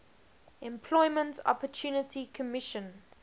employment opportunity commission